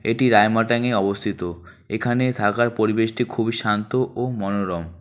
এটি রায়মাটং এ অবস্থিত এখানে থাকার পরিবেশটি খুবই শান্ত ও মনোরম।